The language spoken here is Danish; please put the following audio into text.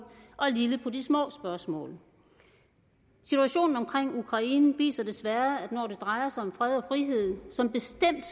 og lille på de små spørgsmål situationen i ukraine viser desværre at når det drejer sig om fred og frihed som bestemt